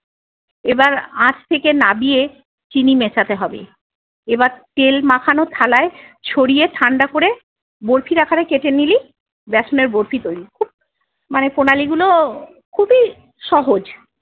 এবার আঁচ থেকে নাবিয়ে চিনি মেশাতে হবে। এবার তেল মাখানো থালায় ছড়িয়ে ঠান্ডা করে বরফির আকারে কেটে নিলি ব্যাসনের বরফি তৈরি। খুব মানে প্রণালী গুলো ও খুবই সহজ।